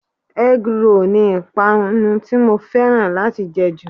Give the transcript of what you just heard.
Egg roll ni ìpànu tí mo fẹ́ràn láti jẹ jù.